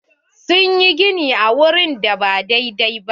Sun yi gini a wurin da ba dai-dai ba.